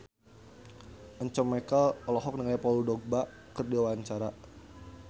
Once Mekel olohok ningali Paul Dogba keur diwawancara